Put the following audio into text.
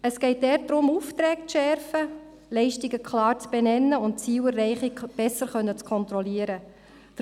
Es geht darum, die Aufträge zu schärfen, die zu erbringenden Leistungen klar zu benennen, um so ihre Zielerreichung auch besser kontrollieren zu können.